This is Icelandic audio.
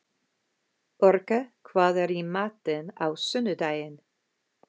Orka, hvað er í matinn á sunnudaginn?